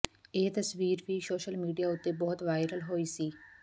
ਇਹ ਤਸਵੀਰ ਵੀ ਸੋਸ਼ਲ ਮੀਡਿਆ ਉੱਤੇ ਬਹੁਤ ਵਾਇਰਲ ਹੋਈ ਸੀ